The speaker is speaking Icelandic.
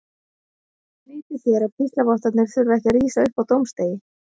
Vitið þér að píslarvottarnir þurfa ekki að rísa upp á dómsdegi?